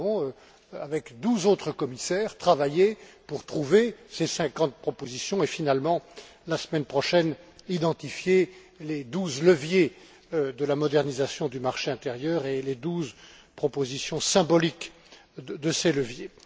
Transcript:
Nous avons, avec douze autres commissaires, travaillé pour trouver ces cinquante propositions et, finalement, la semaine prochaine, identifier les douze leviers de la modernisation du marché intérieur et les douze propositions symboliques de ces leviers.